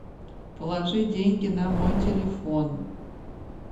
положи деньги на мой телефон